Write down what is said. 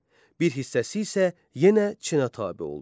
Bir hissəsi isə yenə Çinə tabe oldu.